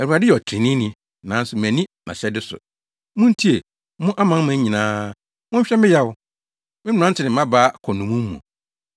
“ Awurade yɛ ɔtreneeni, nanso manni nʼahyɛde so. Muntie, mo amanaman nyinaa monhwɛ me yaw. Me mmerante ne mmabaa kɔ nnommum mu.